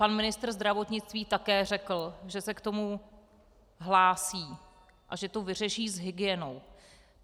Pan ministr zdravotnictví také řekl, že se k tomu hlásí a že to vyřeší s hygienou.